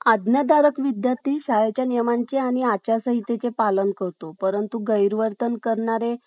आज्ञाधारक विद्यार्थी शाळेच्या नियमांचे आणि आचारसंहितेचे पालन करतो, परंतु गैरवर्तन करणारे